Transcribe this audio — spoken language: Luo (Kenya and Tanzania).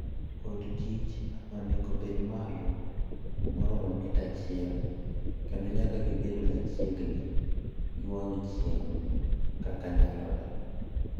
Od kich onego obed malo maromo mita achiel, kendo nyaka gibed machiegni gi wang' chieng' kaka nyalore.